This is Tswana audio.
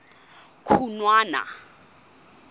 khunwana